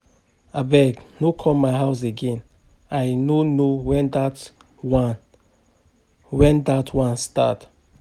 Abeg no come my house again I no know wen dat one wen dat one start